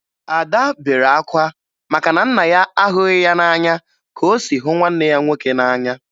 Ada bere akwa maka na nna ya ahụghị ya n'anya ka o si hụ nwanne ya nwoke n'anya